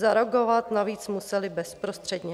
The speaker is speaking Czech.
Zareagovat navíc musely bezprostředně.